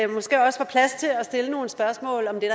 måske også er plads til at stille nogle spørgsmål om det